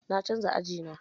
Na canja aji na.